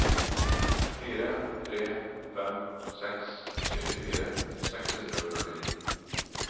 fire tre fem seks syttifire seks hundre og førtini